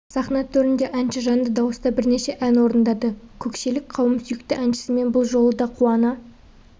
сахна төрінде әнші жанды дауыста бірнеше ән орындады көкшелік қауым сүйікті әншісімен бұл жолы да қуана